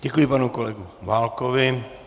Děkuji, panu kolegu Válkovi.